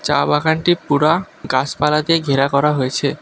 চা বাগানটি পুরা গাছপালা দিয়ে ঘেরা করা হয়েছে।